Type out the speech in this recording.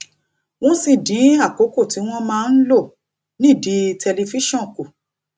wón sì dín àkókò tí wón á máa lò nídìí tẹlifíṣòn kù